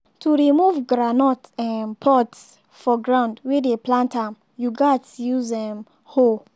to remove groundnut um pods from ground wey dey plant am you gats use um hoe.